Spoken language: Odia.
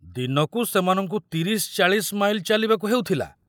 ଦିନକୁ ସେମାନଙ୍କୁ ତିରିଶ ଚାଳିଶ ମାଇଲ ଚାଲିବାକୁ ହେଉଥିଲା।